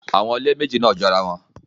Awọn ile meji naa jorawọn